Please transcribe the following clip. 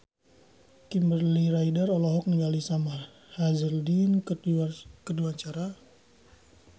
Kimberly Ryder olohok ningali Sam Hazeldine keur diwawancara